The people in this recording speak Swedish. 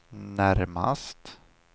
närmast